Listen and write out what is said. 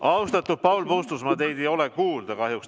Austatud Paul Puustusmaa, teid ei ole kuulda kahjuks.